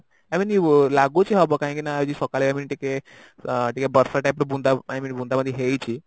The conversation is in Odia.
ଆଇ mean ଲାଗୁଛି ହବ କାହିଁକିନା ଆଜି ସକାଳେ ଏମିତି ଟିକେ ଟିକେ ବର୍ଷା type ର ବୁନ୍ଦା I mean ବୁନ୍ଦା ବୁନ୍ଦି ହେଇଚି